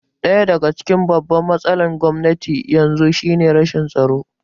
Ɗaya daga cikin babban matsalar Gwamnatin yanzu shi ne rashin tsaro